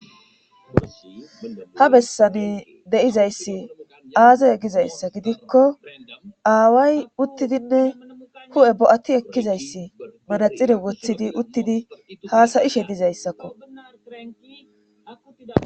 ha bessani de7izayssi aaze gizayssa gidikko aaway uttidinne hu7e bo7ati ekkizayssi manaxire woththidi uththidi haasa7ishe dizayssakko.